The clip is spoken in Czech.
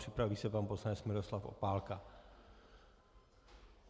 Připraví se pan poslanec Miroslav Opálka.